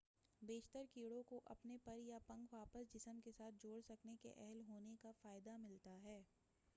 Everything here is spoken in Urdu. بیشتر کیڑوں کو اپنے پر یا پنکھ واپس جسم کے ساتھ جوڑ سکنے کے اہل ہونے کا فائدہ ملتا ہے